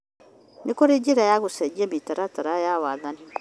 Nĩ kũrĩ njĩra ya gũcenjia mĩtaratara ya wathani